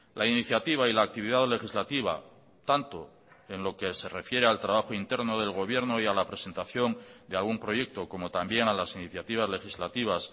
la iniciativa y la actividad legislativa tanto en lo que se refiere al trabajo interno del gobierno y a la presentación de algún proyecto como también a las iniciativas legislativas